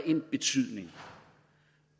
en betydning